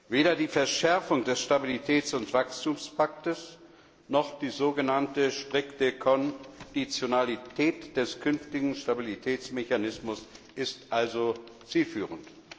Weder die Verschärfung des Stabilitäts und Wachstumspakts noch die so genannte strikte Konditionalität des künftigen Stabilitätsmechanismus ist also zielführend.